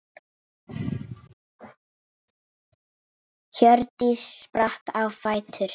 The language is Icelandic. Hjördís spratt á fætur.